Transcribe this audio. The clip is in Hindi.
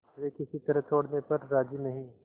वे किसी तरह छोड़ने पर राजी नहीं